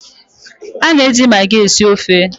A na-eji maagi esi ofe.